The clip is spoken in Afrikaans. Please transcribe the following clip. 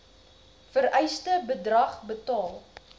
vereiste bedrag betaal